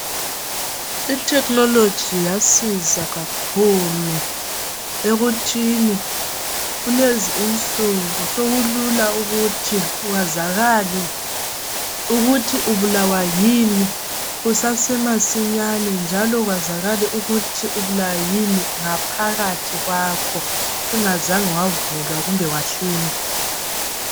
Ithekhinoloji yasiza kakhulu ekuthini kulezi insuku sokulula ukuthi kwazakale ukuthi ubulawa yini kusase. masinyane. Njalo ubulawa yini ngaphakathi kwakho , ungazange wavulwa kumbe wahlinzwa.